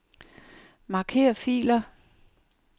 Marker filer.